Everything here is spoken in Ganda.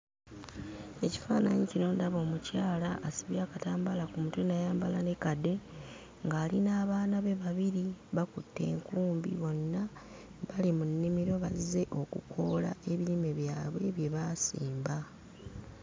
Ekifaananyi kino ndaba omukyala asibye akatambala ku mutwe n'ayamabala ne kade ng'ali n'abaana be babiri bakutte enkumbi bonna bali mu nnimiro bazze okukoola ebirime byabwe bye baasimba.